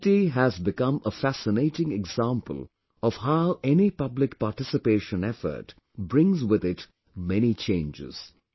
Khunti has become a fascinating example of how any public participation effort brings with it many changes